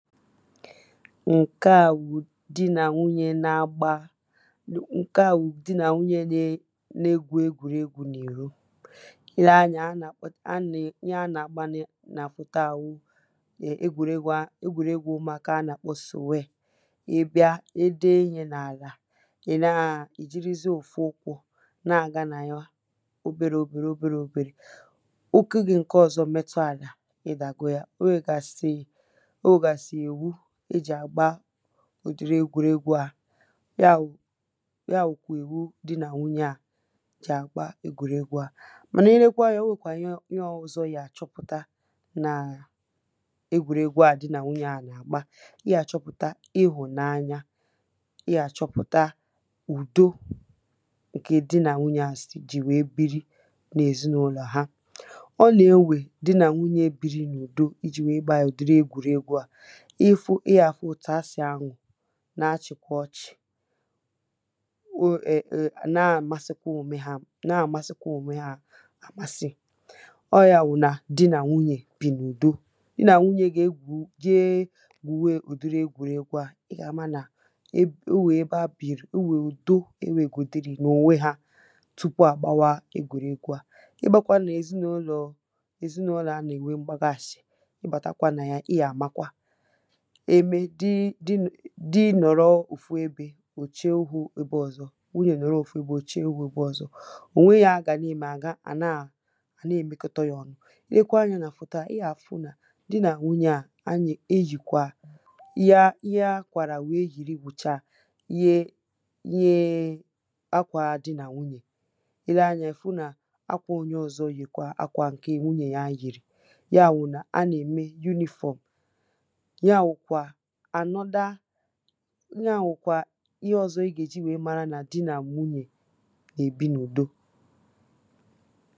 Nke à wụ di nà nwunye na-agba, ǹke à wụ di nà nwunye na-egwù egwuregwu n’ìro. I le anyȧ, ihe ha nà-àgbanị nà-àkpọta à wụ egwuregwu a ègwuregwu umùakȧ à nà-àkpọ sùwe. Ị bia, e dee ihe nà-àlà, ì najirizie òfu ụkwụ̇ na-àga nà yà oberė oberė, oberė oberė. ụkwụ gi̇ ǹke ọ̀zọ metụ àlà, ị dàgo ya. O nwègasi ìwu ejì agbà ùdiri egwùregwu̇ à. Yà wù, yà wukwà iwu di nà nwunyė à jì àgba egwùregwu̇ à. Mànà i lekwa ànya o nwèkwà ihe ìhe ọ̇zọ̇i yà àchọpụ̀ta nà egwùregwu̇ à di nà nwunyė à nà-àgba. Ị yà àchọpụ̀ta ịhùnanya, i yà àchọpụ̀ta ùdo ǹkè di nà nwunyė à sì jì wèe biri nà èzinàụlọ̀ ha. ọ nà ewè di nà nwunyė biri n'ùdo i ji̇ wèe gba à ùdiri egwùregwu̇ à. Ị fụ, i gà-àfụ òtù a sì anụ,̀ na-achị̀kwa ọchị,̀ o e e na-amasịkwa òme ha, na-amasịkwa òme ha àmasị.̇ ọ̇ ya wù nà di nà nwunyè bìì n'ùdo. Di nà nwunyė gà egwù je gwùwe ụ̀dịrị egwùregwu à, ị gà-ama nà o nwè ebe ha bìrì, o nwè ùdo e nwègodiri n'ọnwe hà, tupu à gbawa egwùregwu à. Ị bȧkwȧ nà èzinàụlọ,̀ ezinàụlọ̀ a nà-ènwe mgbagàshi, ị bàtakwa nà ya, ị gà àmakwa. Eme di di di nọ̀rọ òfu ebė, ò chie ihu̇ ebe ọ̀zọ, nwunyè nọ̀rọ òfu ebė ò chie ihu̇ ebe ọ̀zọ. Ò nweghi̇ ihe ha gà na-ème, hà naà hà na è mekọta yȧ ọnu.̇ I lekwa anyȧ nà fòto à, i yà à fu nà di nà nwunyė à, ànà eyìkwa ihe ha, ìhe ha kwàrà wèe yìri wùcha, yie yie akwȧ di nà nwunyè. Ị le anyȧ i fu nà akwȧ onye ọ̀zọ yìkwà, akwȧ ǹke nwunyè ya yìrì. Yà wù nà a nà-ème uniform. Yà nwụ̀kwà anoda, ihe a wukwà, ìhe ọ̀zọ ị gà-èji wèe mara nà di nà nwunyè nà-èbi n’ùdo.